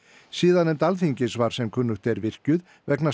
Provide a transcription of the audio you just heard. siðanefnd Alþingis var sem kunnugt virkjuð vegna